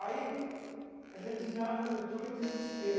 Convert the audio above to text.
Aí a gente já entrou em desespero.